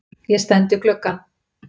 Ég stend við gluggann.